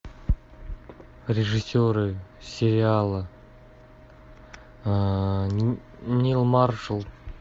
режиссеры сериала нил маршал